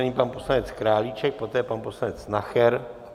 Nyní pan poslanec Králíček, poté pan poslanec Nacher.